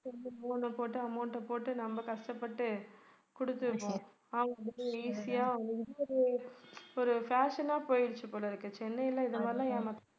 loan அ போட்டு amount அ போட்டு நம்ம கஷ்டப்பட்டு குடுத்திருப்போம். அவங்க வந்துட்டு easy யா ஒரு fashion ஆ போயிடுச்சு போலிருக்கு சென்னையில இதமாதிரியெல்லாம் ஏமாத்த